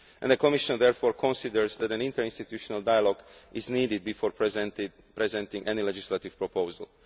The Commission therefore considers that an interinstitutional dialogue is needed before presenting any legislative